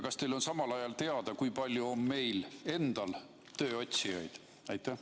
Kas teil on samal ajal teada, kui palju meil endal on tööotsijaid?